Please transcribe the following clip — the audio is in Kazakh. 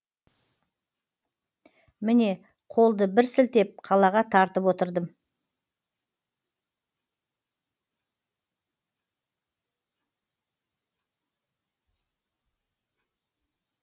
міне қолды бір сілтеп қалаға тартып отырдым